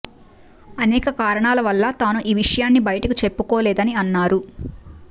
అనేక కారణాల వల్ల తాను ఈ విషయాన్ని బయటికి చెప్పుకోలేదని అన్నారు